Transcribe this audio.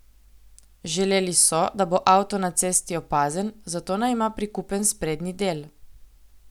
Želeli so, da bo avto na cesti opazen, zato naj ima prikupen sprednji del.